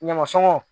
Ɲamasɔnw